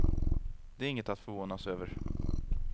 Det är inget att förvånas över.